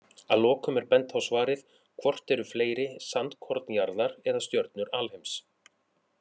Að lokum er bent á svarið Hvort eru fleiri, sandkorn jarðar eða stjörnur alheims?